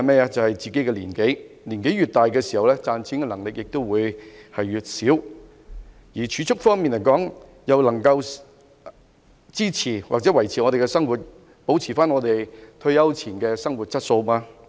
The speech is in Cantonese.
答案是自己的年紀，年紀越大，賺錢能力越低，但積蓄能否支持或維持我們的生活，保持退休前的生活質素？